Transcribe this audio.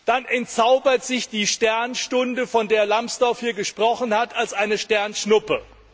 Dann entzaubert sich die Sternstunde, von der Alexander Graf Lambsdorff hier gesprochen hat, als eine Sternschnuppe.